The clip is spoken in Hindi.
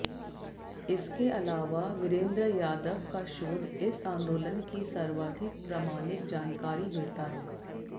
इसके अलावा वीरेंद्र यादव का शोध इस आंदोलन की सर्वाधिक प्रामाणिक जानकारी देता है